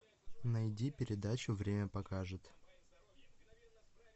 найди передачу время покажет